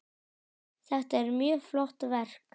Þetta er mjög flott verk.